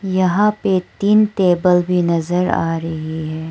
यहां पे तीन टेबल भी नजर आ रही है।